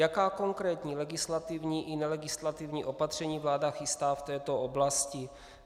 Jaká konkrétní legislativní i nelegislativní opatření vláda chystá v této oblasti?